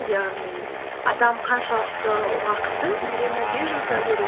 яғни адам қаншалықты уақытын үйренуге жұмсау керек